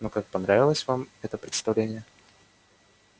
ну как понравилось вам это представление